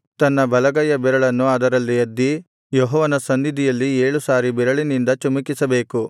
ತನ್ನ ಬಲಗೈಯ ಬೆರಳನ್ನು ಅದರಲ್ಲಿ ಅದ್ದಿ ಯೆಹೋವನ ಸನ್ನಿಧಿಯಲ್ಲಿ ಏಳು ಸಾರಿ ಬೆರಳಿನಿಂದ ಚಿಮುಕಿಸಬೇಕು